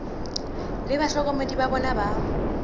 le bahlokomedi ba bona ba